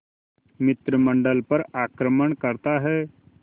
मंत्रिमंडल पर आक्रमण करता है